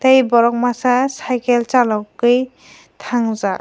tei borok masa cycle salogoi tangjak.